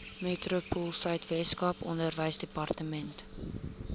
metropoolsuid weskaap onderwysdepartement